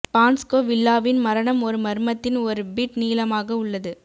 பான்ஸ்கோ வில்லாவின் மரணம் ஒரு மர்மத்தின் ஒரு பிட் நீளமாக உள்ளது